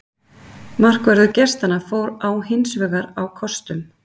Markvörður gestanna fór á hinsvegar á kostum.